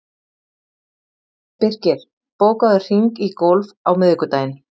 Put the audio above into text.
Birkir, bókaðu hring í golf á miðvikudaginn.